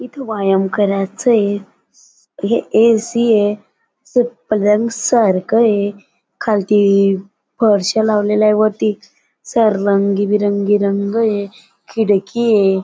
इथ व्यायाम करायचये हे ऐ.सी. ये स पलंग सारख ये खालती फरशा लावलेलय वरती स रंगबिरंगी रंग ये खिडकी ये.